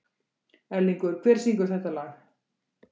Erlingur, hver syngur þetta lag?